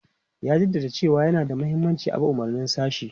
Ya jaddada cewa yana da mahimmanci a bi umarnin sashi.